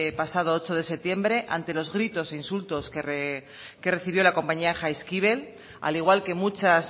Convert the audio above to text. pasado ocho de septiembre ante los gritos e insultos que recibió la compañía jaizkibel al igual que muchas